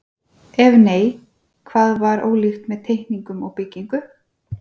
Ef nei, hvað var ólíkt með teikningum og byggingu?